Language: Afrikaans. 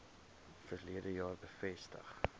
verlede jaar bevestig